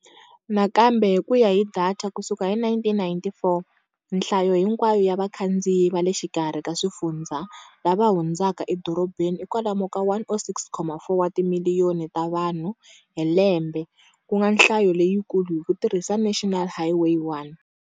Nakambe hi ku ya hi datha ku suka hi 1994, nhlayo hinkwayo ya vakhandziyi va le xikarhi ka swifundzha lava hundzaka edorobeni i kwalomu ka 106.4 wa timiliyoni ta vanhu hi lembe, ku nga nhlayo leyikulu hi ku tirhisa National Highway 1.